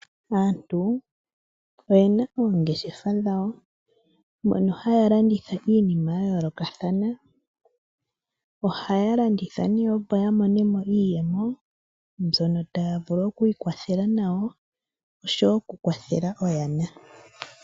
Aantu oyena oongeshefa dhawo mono haya landitha iinima ya yoolokathana .Ohaya landitha nee opo ya monemo iiyemo mbyono taya vulu oku ikwathela nayo oshowo oku kwathela oyana.